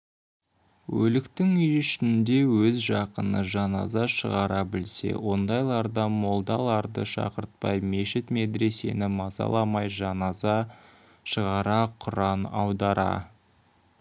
өліктің үй ішінде өз жақыны жаназа шығара білсе ондайларда молдаларды шақыртпай мешіт медресені мазаламай жаназа шығара құран аудара